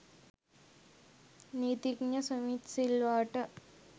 නීතිඥ සුමිත් සිල්වාට